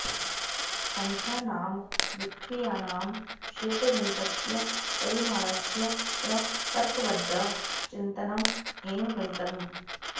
सन्ख्यानां विक्रियानां क्षेत्रगणितस्य परिमाणस्य च तर्कबद्ध चिन्तनम् एव गणितम्